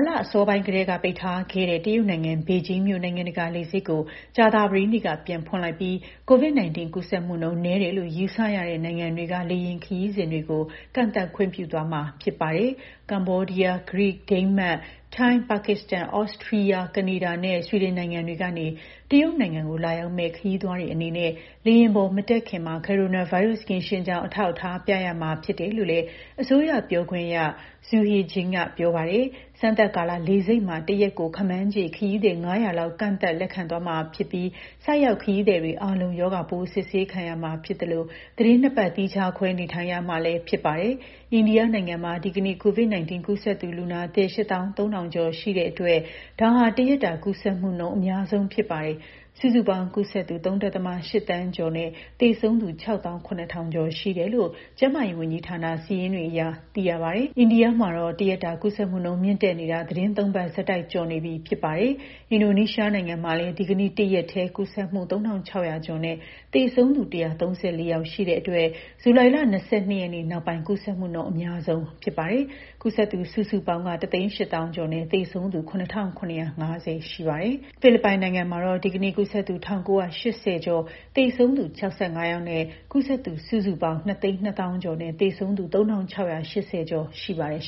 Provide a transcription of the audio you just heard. လအစောပိုင်းကတည်းက ပိတ်ထားခဲ့တဲ့ ဘေဂျင်းမြို့နိုင်ငံတကာလေဆိပ်ကို ကြာသပတေးနေ့က ပြန်ဖွင့်လိုက်ပြီး COVID-19 ကူးစက်မှုနှုန်း နည်းတယ်လို့ ယူဆရတဲ့ နိုင်ငံတွေက လေယာဉ်ခရီးစဉ်တွေကို ကန့်သတ် ခွင့်ပြုသွားမှာဖြစ်ပါတယ်။ ကမ္ဘောဒီးယား၊ ဂရိ၊ ဒိန်းမတ်၊ ထိုင်း၊ ပါကစ္စတန်၊ သြစတြီးယား၊ ကနေဒါနဲ့ ဆွီဒင်နိုင်ငံတွေကနေ တရုတ်နိုင်ငံကို လာရောက်မယ့် ခရီးသွားတွေအနေနဲ့ လေယာဉ်ပေါ်မတက်ခင်မှာ ကိုရိုနာဗိုင်းရပ်စ် ကင်းရှင်းကြောင်း အထောက်အထားပြရမှာဖြစ်တယ်လို့လည်း အစိုးရပြောခွင့်ရ Xu Hejian ကပြောပါတယ်။ စမ်းသပ်ကာလအတွင်း လေဆိပ်မှာ တရက်ကို ခန့်မှန်းခြေ ခရီးသည် ၅၀၀ လောက် ကန့်သတ်လက်ခံသွားမှာဖြစ်ပြီး ဆိုက်ရောက်ခရီးသည်တွေအားလုံး ရောဂါပိုးစစ်ဆေးခံရမှာဖြစ်သလို သီတင်း ၂ ပတ်သီးခြားခွဲနေထိုင်ရမှာလည်းဖြစ်ပါတယ်။ အိန္ဒိယနိုင်ငံမှာ ဒီကနေ့ COVID-19 ကူးစက်သူလူနာသစ် ၈၃,၀၀၀ ကျော်ရှိတဲ့အတွက် ဒါဟာ တရက်တာ ကူးစက်မှုနှုန်းအများဆုံးဖြစ်ပါတယ်။ စုစုပေါင်းကူးစက်သူ ၃.၈ သန်းကျော်နဲ့ သေဆုံးသူက ၆၇,၀၀၀ ကျော်ရှိတယ်လို့ ကျန်းမာရေးဝန်ကြီးဌာန စာရင်းတွေအရသိရပါတယ်။ အိန္ဒိယမှာ တရက်တာကူးစက်မှုနှုန်း မြင့်တက်နေတာ သီတင်း ၃ ပတ်ဆက်တိုက်ကျော်နေပြီလည်းဖြစ်ပါတယ်။ အင်ဒိုနီးရှားနိုင်ငံမှာလည်း ဒီကနေ့ တရက်ထဲ ကူးစက်မှု ၃,၆၀၀ ကျော်နဲ့ သေဆုံးသူ ၁၃၄ ယောက်ရှိတဲ့အတွက် ဇူလိုင် ၂၂ ရက်နေ့နောက်ပိုင်း ကူးစက်မှုနှုန်း အများဆုံးဖြစ်ပါတယ်။ ကူးစက်သူ စုစုပေါင်းက ၁၈၀,၀၀၀ ကျော်နဲ့ သေဆုံးသူ ၇,၇၅၀ ရှိပါတယ်။ ဖိလစ်ပိုင်မှာတော့ ဒီကနေ့ ကူးစက်သူ ၁,၉၈၀ ကျော်၊ သေဆုံးသူ ၆၅ ယောက်နဲ့ ကူးစက်သူ စုစုပေါင်းက ၂၂၀,၀၀၀ ကျော်နဲ့ သေဆုံးသူ ၃,၆၈၀ ကျော်ရှိပါတယ်။